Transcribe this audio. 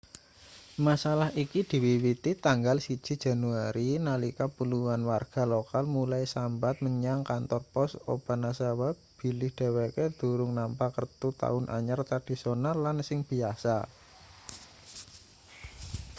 masalah iki diwiwiti tanggal 1 januari nalika puluhan warga lokal mulai sambat menyang kantor pos obanazawa bilih dheweke durung nampa kertu taun anyar tradisional lan sing biyasa